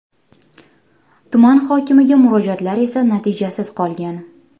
Tuman hokimiga murojaatlar esa natijasiz qolgan.